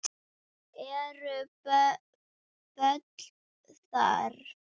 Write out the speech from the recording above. Eru böll þar?